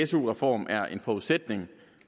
su reform er en forudsætning